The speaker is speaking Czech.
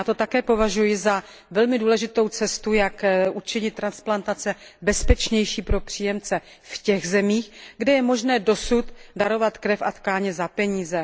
A já to také považuji za velmi důležitou cestu, jak učinit transplantace bezpečnější pro příjemce v těch zemích, kde je možné dosud darovat krev a tkáně za peníze.